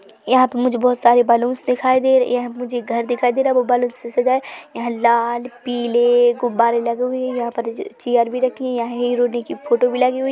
यहाँ पर मुझे बहुत सारे बलूंस दिखाई दे रहे है यहाँ मुझे घर भी दिखाई दे रहा है बैलून से सजा है यहाँ लाल पीले गुब्बारे लगे हुए है यहाँ पर चेयर भी रखी हुई यहाँ हिरोइने की फोटो भी लगी हुई --